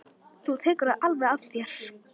Þú tekur þau alveg að þér.